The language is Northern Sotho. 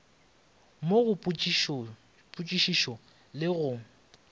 mo go potšišišo le ge